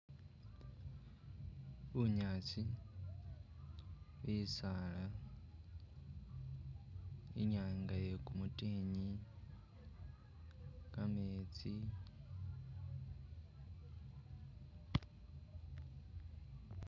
Bunyaasi, bisaala , inyanga iye kumutikhinyi ametsi